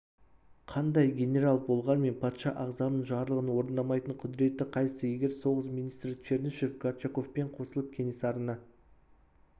қандай генерал болғанмен патша ағзамның жарлығын орындамайтын құдіреті қайсы егер соғыс министрі чернышев горчаковпен қосылып кенесарыны